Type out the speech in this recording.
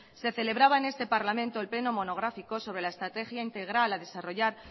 se celebraba en este parlamento el pleno monográfico sobre la estrategia integral a desarrollar